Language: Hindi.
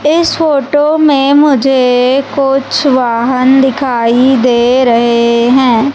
इस फोटो में मुझे कुछ वाहन दिखाई दे रहे हैं।